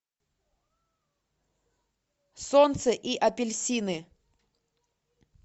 солнце и апельсины